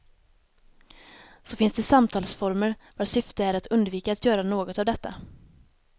Så finns det samtalsformer vars syfte är att undvika att göra något av detta.